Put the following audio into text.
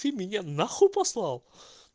ты меня на хуй послал